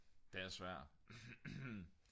den er svær